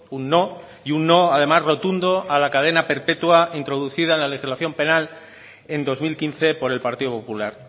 un no y un no además rotundo a la cadena perpetua introducida en la legislación penal en dos mil quince por el partido popular